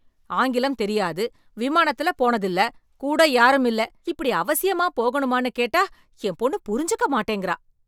ஆங்கிலம் தெரியாது, விமானத்துல போனதில்ல, கூட யாருமில்ல, இப்படி அவசியமாப் போகணுமான்னு கேட்டா என் பொண்ணு புரிஞ்சுக்க மாட்டேங்கறா.